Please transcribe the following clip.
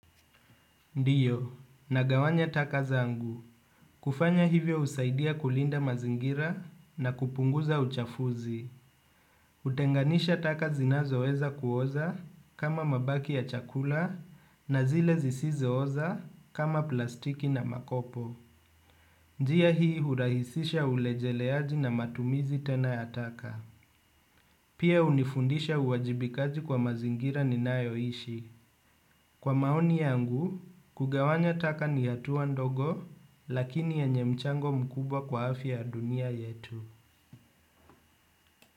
Ndiyo, nagawanya taka zangu. Kufanya hivyo usaidia kulinda mazingira na kupunguza uchafuzi. Hutenganisha taka zinazoweza kuoza kama mabaki ya chakula na zile zisizooza kama plastiki na makopo. Njia hii hurahisisha ulejeleaji na matumizi tena ya taka. Pia hunifundisha uwajibikaji kwa mazingira ninayoishi. Kwa maoni yangu, kugawanya taka ni hatua ndogo, lakini yenye mchango mkubwa kwa afya dunia yetu.